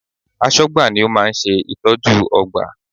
Aṣọ́gbà ni ó máa ń ṣe ìtọ́jú ọgbà